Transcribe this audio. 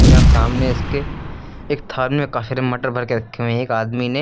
यहां सामने इसके एक थार में काफी मटर भर के रखे हुए हैं एक आदमी ने।